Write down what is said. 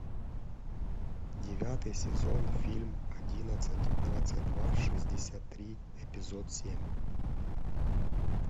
девятый сезон фильм одиннадцать двадцать два шестьдесят три эпизод семь